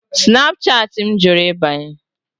Snapchatị m jụrụ ịbanye.